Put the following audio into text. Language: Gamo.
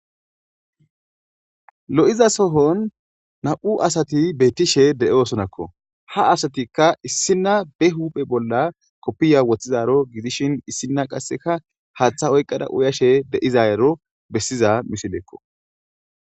lo'iza sohon nam'u asati bettishe de'oosonakko ha asatikka issinna be huphe bolla koppiya woththizaro gidishin issinna qasseka haaththa oyqqada uyashe de'izayero bessiza misileekko.